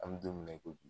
An bɛ don min na i ko bi